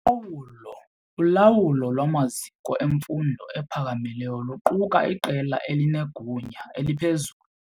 Ulawulo lwamaziko emfundo ephakamileyo luquka iqela elinegunya eliphezulu.